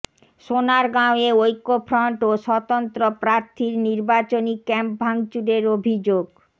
সোনারগাঁওয়ে ঐক্যফ্রন্ট ও স্বতন্ত্র প্রার্থীর নির্বাচনি ক্যাম্প ভাঙচুরের অভিযোগ